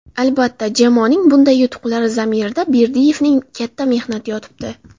Albatta, jamoaning bunday yutuqlari zamirida Berdiyevning katta mehnati yotibdi.